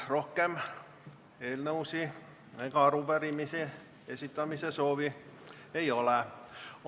Rohkem eelnõude ega arupärimiste esitamise soovi ei ole.